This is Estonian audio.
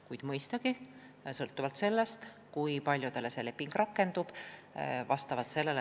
Kuid mõistagi sõltub kõik sellest, kui paljudele see leping rakendub.